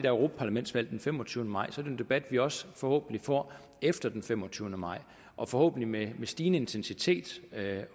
europaparlamentsvalg den femogtyvende maj jo en debat vi også forhåbentlig får efter den femogtyvende maj og forhåbentlig med stigende intensitet